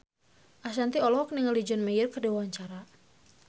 Ashanti olohok ningali John Mayer keur diwawancara